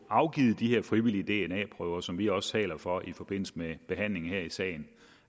afgives de her frivillige dna prøver som vi også taler for i forbindelse med behandlingen af sagen